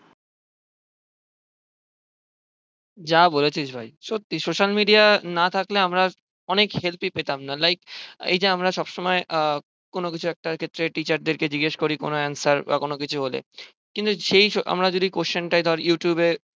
যা বলেছিস ভাই সত্যি social media না থাকলে আমরা অনেক help ই পেতাম না like এই যে আমরা সবসময় আহ কোনো কিছু একটা ক্ষেত্রে teacher দেরকে জিজ্ঞেস করি কোনো answer বা কোনো কিছু হলে কিন্তু যেই আমরা যদি question তা যদি Youtube এ